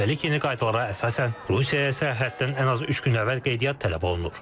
Üstəlik yeni qaydalara əsasən Rusiyaya səyahətdən ən az üç gün əvvəl qeydiyyat tələb olunur.